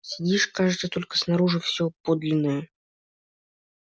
сидишь кажется только снаружи всё подлинное